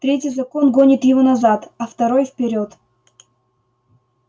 третий закон гонит его назад а второй вперёд